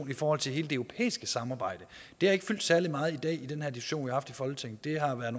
i forhold til hele det europæiske samarbejde det har ikke fyldt særlig meget i dag i den her diskussion haft i folketinget det har været